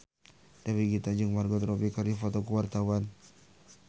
Dewi Gita jeung Margot Robbie keur dipoto ku wartawan